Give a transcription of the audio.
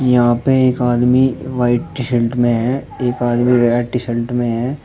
यहां पे एक आदमी व्हाइट टी शर्ट में है एक आदमी रेड टी शर्ट में है।